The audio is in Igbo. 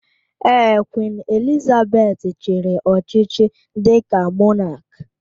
Ee, Queen Elizabeth chiri ọchịchị dika mọnak